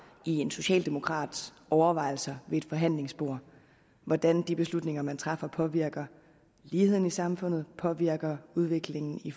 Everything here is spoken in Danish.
i en socialdemokrats overvejelser ved et forhandlingsbord hvordan de beslutninger man træffer påvirker ligheden i samfundet påvirker udviklingen i